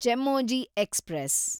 Chemmozhi express